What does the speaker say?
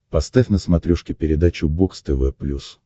поставь на смотрешке передачу бокс тв плюс